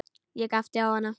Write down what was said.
Ég glápti á hana.